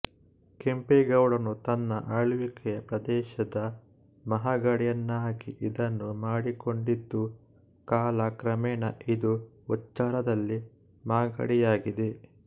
ಕೆಂಪೇಗೌಡನು ತನ್ನ ಆಳ್ವಿಕೆಯ ಪ್ರದೇಶದ ಮಹಾಗಡಿಯನ್ನಾಗಿ ಇದನ್ನು ಮಾಡಿಕೊಂಡಿದ್ದು ಕಾಲ ಕ್ರಮೇಣ ಇದು ಉಚ್ಚಾರದಲ್ಲಿ ಮಾಗಡಿಯಾಗಿದೆ